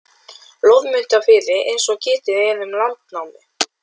Loðmundarfirði eins og getið er um í Landnámu.